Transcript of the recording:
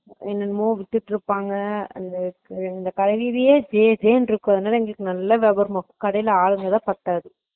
எல்லா வித்திட்டு இருப்பாங்க அது அஹ அந்த வீதியே ஜ ஜான்ட்டு இருக்கும் அங்கெல்ல மொக்குகடைக்கு ஆளுதான் பத்தாது